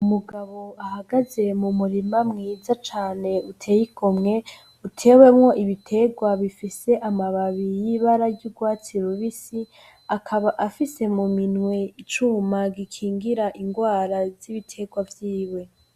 Umugabo ahagaze m'umurima mwiza cane uteye igomwe utewemwo ibiterwa bifise amababi y'ibara y'urwatsi rubisi, akaba afise mu minwi icuma gikingira ingwara z'ibiterwa vyiwe.